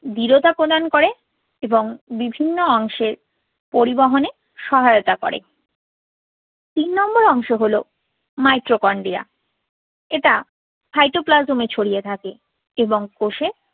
দৃঢ়তা প্রদান করে এবং বিভিন্ন অংশের পরিবহনে সহায়তা করে। তিন number অংশ হলো mitochondria । এটা cytoplasm ছড়িয়ে থাকে এবং কোষে